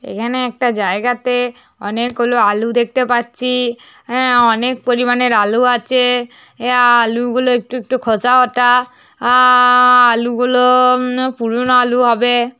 এখানে একটা জায়গাতে অনেক গুলো আলু দেখতে পাচ্ছি । হে অনেক পরিমাণের আলু আছে । হে আলু গুলো একটু একটু খোঁসা ও। আ-আ-আ আলু গুলো উম পুরনো আলু হবে।